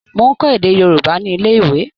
Mò ń kọ́ èdè Yorùbá ní ilé-ìwé.